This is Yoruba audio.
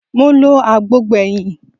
Mo lọ agbo gbẹ̀yìn